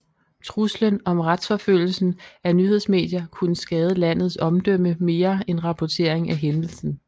Truslen om retsforfølgelsen af nyhedsmedier kunne skade landets omdømme mere end rapportering af hændelsen